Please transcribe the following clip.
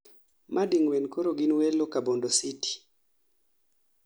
ma ding'wen koro gin welo ka bondo city